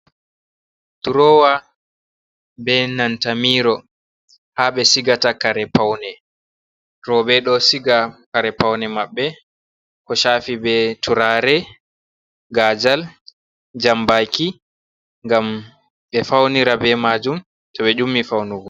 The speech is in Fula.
Durowa be nanta mirrow ha ɓe sigata kare paune. Roobe ɗo siga kare paune maɓɓe ko shafi be turare, gajal, jambaki ngam ɓe faunira be maajum to ɓe ƴummi faunugo.